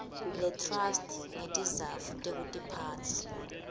letrust ngetizatfu tekutiphatsa